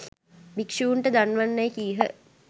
භික්ෂූන්ට දන්වන්නැයි කීහ.